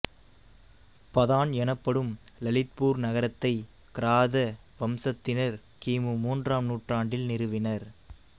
பதான் எனப்படும் லலித்பூர் நகரத்தை கிராத வம்சத்தினர் கி மு மூன்றாம் நூற்றாண்டில் நிறுவினர்